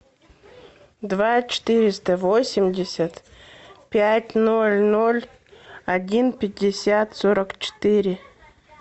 два четыреста восемьдесят пять ноль ноль один пятьдесят сорок четыре